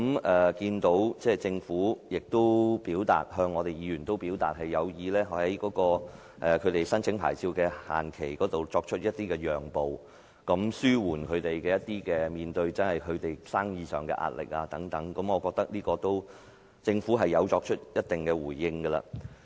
我看到政府向議員表示有意在申請牌照的限期方面作出讓步，以紓緩業界在生意上面對的壓力，我覺得政府已作出一定的回應。